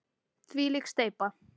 Þvílík steypa!